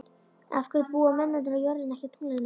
Af hverju búa mennirnir á jörðinni en ekki á tunglinu?